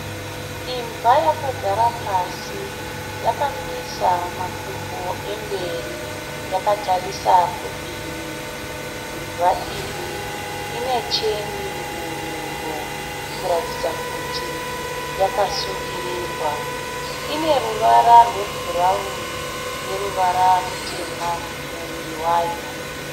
Imbwa yakagara pasi yakamisa makumbo emberi yakatarisa kudivi. Imbwa iyi ine cheni muhuro kutaridza kuti yakasungirirwa. Ine ruvara rwe bhurawuni neruvara rutema muviri wayo.